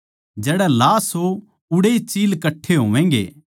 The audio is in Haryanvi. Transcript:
जड़ै लाश हो उड़ैए चील कट्ठे होवैगें